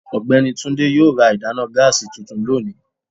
ọgbẹni Túndé yóò rà ìdána gáásí túntún lónì